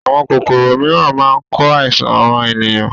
Àwọn kòkòrò mìíràn máa ń ko àìsàn ran ènìyàn